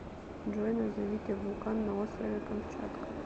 джой назовите вулкан на острове камчатка